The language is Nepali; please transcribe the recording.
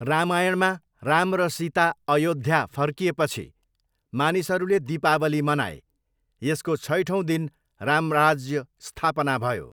रामायणमा राम र सीता अयोद्धा फर्किएपछि मानिसहरूले दीपावली मनाए। यसको छैठौँ दिन रामराज्य स्थापना भयो।